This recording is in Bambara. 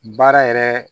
Baara yɛrɛ